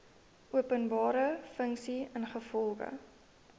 openbare funksie ingevolge